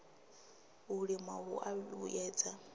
u lima hu a vhuedza